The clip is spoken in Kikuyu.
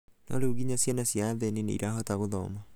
no rĩu nginya ciana cia athĩni nĩirahota gũthoma.